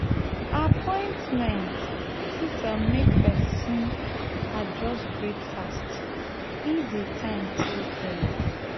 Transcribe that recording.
appointment fit um make pesin adjust breakfast if di time too early.